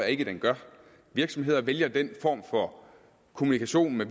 ikke den gør virksomheder vælger den form for kommunikation med